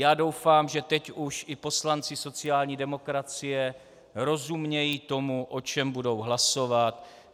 Já doufám, že teď už i poslanci sociální demokracie rozumějí tomu, o čem budou hlasovat.